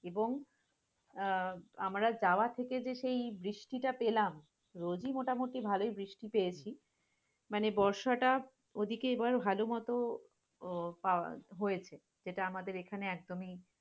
এবং আহ আমরা যাওয়া থেকে যে সেই বৃষ্টিটা পেলাম, রোজি মোটামুটি ভালই বৃষ্টি পেয়েছি, মানে বর্ষাটা ওদিকে এবার ভালমতো আহ পাও হয়েছে, যেটা আমাদের এখানে একদমি